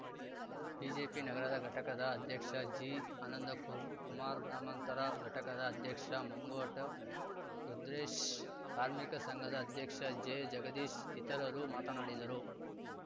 BJP ನಗರದ ಘಟಕದ ಅಧ್ಯಕ್ಷ ಜಿ ಆನಂದಕುರ್ ಕುಮಾರ್‌ ಗ್ರಾಮಾಂತರ ಘಟಕದ ಅಧ್ಯಕ್ಷ ಮಂಗೋಟು ರುದ್ರೇಶ್‌ ಕಾರ್ಮಿಕ ಸಂಘದ ಅಧ್ಯಕ್ಷ ಜೆ ಜಗದೀಶ್‌ ಇತರರು ಮಾತನಾಡಿದರು